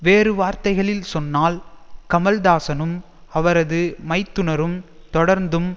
வேறு வார்த்தைகளில் சொன்னால் கமல்தாசனும் அவரது மைத்துனரும் தொடர்ந்தும்